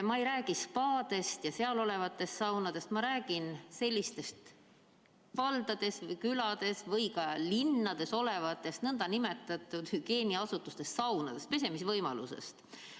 Ma ei räägi spaadest ja seal olevatest saunadest, ma räägin sellistest valdades ja külades või linnades olevatest nn hügieeniasutustest, saunadest, pesemisvõimalusest.